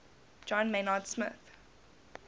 john maynard smith